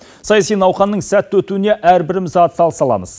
саяси науқанның сәтті өтуіне әрбіріміз атсалыса аламыз